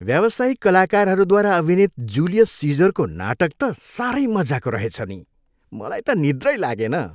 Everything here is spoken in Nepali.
व्यावसायिक कलाकारहरूद्वारा अभिनित जुलियस सिजरको नाटक त साह्रै मजाको रहेछ नि, मलाई त निद्रै लागेन।